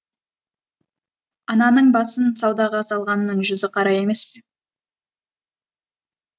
ананың басын саудаға салғанның жүзі қара емес